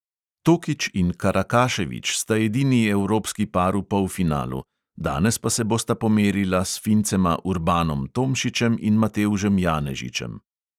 Tokič in karakašević sta edini evropski par v polfinalu, danes pa se bosta pomerila s fincema urbanom tomšičem in matevžem janežičem.